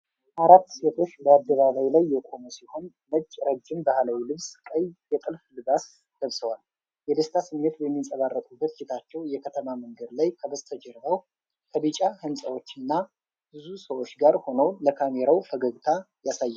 አራት ሴቶች በአደባባይ ላይ የቆሙ ሲሆን ነጭ ረጅም ባህላዊ ልብስ ቀይ የጥልፍ ልባስ ለብሰዋል። የደስታ ስሜት በሚንጸባረቅበት ፊታቸው የከተማ መንገድ ላይ ከበስተጀርባው ከቢጫ ህንፃዎች እና ብዙ ሰዎች ጋር ሆነው ለካሜራው ፈገግታ ያሳያሉ።